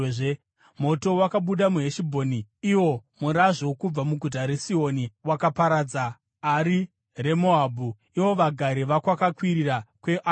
“Moto wakabuda muHeshibhoni, iwo murazvo kubva muguta raSihoni. Wakaparadza Ari reMoabhu, ivo vagari vokwakakwirira kweAnoni.